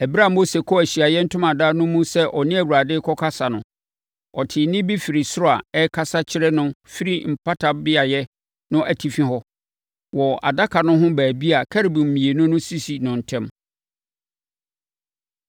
Ɛberɛ a Mose kɔɔ Ahyiaeɛ Ntomadan no mu sɛ ɔne Awurade rekɔkasa no, ɔtee nne bi firi soro a ɛrekasa kyerɛ no firi Mpata Beaeɛ no atifi hɔ, wɔ adaka no ho baabi a Kerubim mmienu no sisi no ntam.